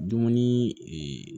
Dumuni